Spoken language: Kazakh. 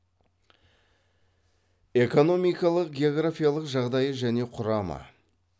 экономикалық географиялық жағдайы және құрамы